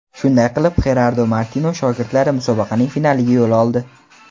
Shunday qilib, Xerardo Martino shogirdlari musobaqaning finaliga yo‘l oldi.